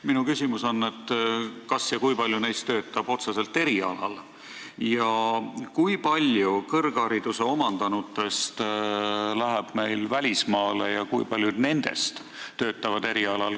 Minu küsimus on, kui paljud neist töötavad otseselt oma erialal ning kui paljud kõrghariduse omandanutest lähevad välismaale ja töötavad seal oma erialal.